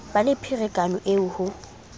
ba le pherekano eo ho